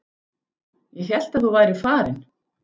Ég hélt að þú værir farin.